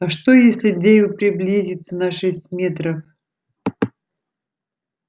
а что если дейв приблизится на шесть метров